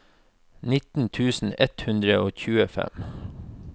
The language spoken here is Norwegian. nitten tusen ett hundre og tjuefem